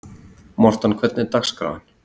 Mortan, hvernig er dagskráin?